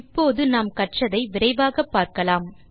இப்போது நாம் கற்றதை விரைவாக பார்க்கலாம்